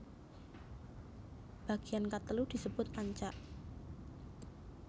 Bagean katelu disebut ancak